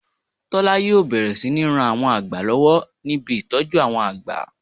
Tọ̀lá yíò bẹ̀rẹ̀ sí ní ran àwọn àgbà lọ́wọ́ ní ibi ìtọ́jú àwọn àgbà